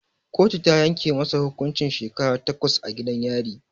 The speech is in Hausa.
Kotu ta yanke masa hukuncin shekara takwas a gidan yari